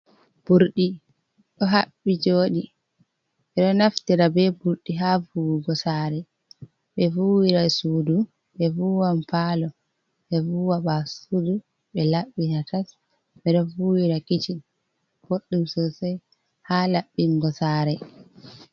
Ɓurɗi ɗo haɓɓi joɗi ɓeɗo naftira be burɗi ha fuwugo saare be vuwira sudu ɓe vuwan palo ɓe vuwa basudu ɓe laɓɓina tas ɓeɗo vuwira kiccin ɓoɗɗum sosai ha laɓɓingo saare.